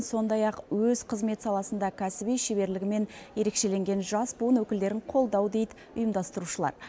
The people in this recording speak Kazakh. сондай ақ өз қызмет саласында кәсіби шеберлігімен ерекшеленген жас буын өкілдерін қолдау дейді ұйымдастырушылар